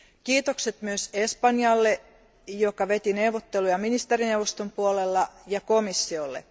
Kiitokset myös Espanjalle, joka veti neuvotteluja ministerineuvoston puolella, ja komissiolle.